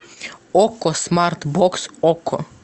окко смарт бокс окко